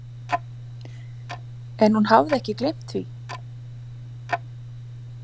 En hún hafði ekki gleymt því?